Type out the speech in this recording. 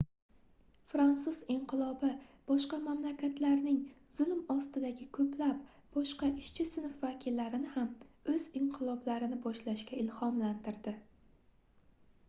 fransuz inqilobi boshqa mamlakatlarning zulm ostidagi boshqa koʻplab ishchi sinf vakillarini ham oʻz inqiloblarini boshlashga ilhomlantirdi